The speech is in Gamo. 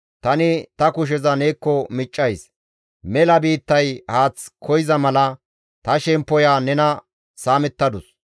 Tani ta kusheza neekko miccays; mela biittay haath koyza mala ta shemppoya nena saamettadus.